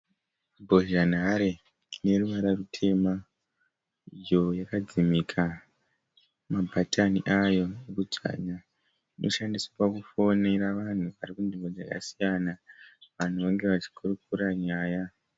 Mbozhanhare ine ruvara rutema iyo yakadzimika mabhatani ayo ekudzvanya. Inoshandiswa kufonera vanhu varikunzvimbo dzakasiyana vanhu vange vachikurukura nyaya.